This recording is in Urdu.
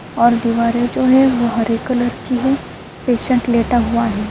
اور دوارے جو ہے وو ہرے کلر کی ہے پیشنٹ لٹا ہوا ہے۔